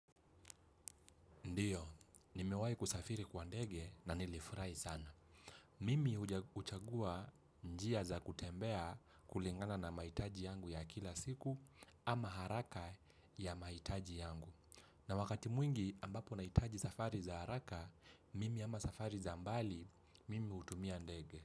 Ndiyo, nimewahi kusafiri kwa ndege na nilifurahi sana. Mimi huchagua njia za kutembea kulingana na mahitaji yangu ya kila siku ama haraka ya mahitaji yangu. Na wakati mwingi ambapo nahitaji safari za haraka, mimi ama safari za mbali, mimi hutumia ndege.